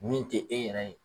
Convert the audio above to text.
Min tɛ e yɛrɛ ye.